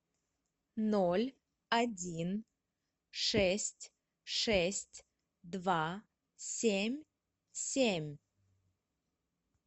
ноль один шесть шесть два семь семь